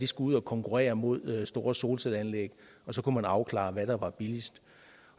skulle ud at konkurrere mod store solcelleanlæg og så kunne man afklare hvad der var billigst